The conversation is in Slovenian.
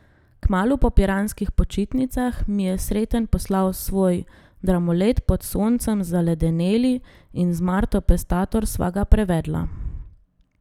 Kmalu po piranskih počitnicah mi je Sreten poslal svoj dramolet Pod soncem zaledeneli in z Marto Pestator sva ga prevedla.